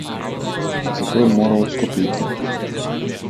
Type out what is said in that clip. Zato je moral odstopiti.